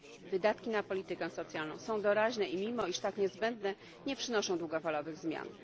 Wydatki na politykę socjalną są doraźne i mimo, iż tak niezbędne, nie przynoszą długofalowych zmian.